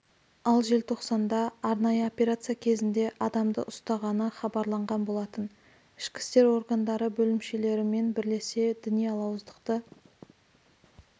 ал желтоқсанда арнайы операция кезінде адамды ұстағаны хабарланған болатын ішкі істер органдары бөлімшелерімен бірлесе діни алауыздықты